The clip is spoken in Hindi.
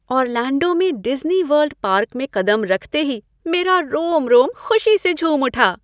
ऑरलैंडो में डिज्नी वर्ल्ड पार्क में कदम रखते ही मेरा रोम रोम खुशी से झूम उठा।